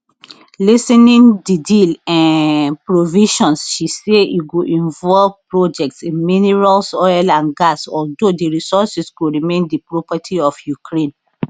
listing di deal um provisions she say e go involve projects in minerals oil and gas although di resources go remain di property of ukraine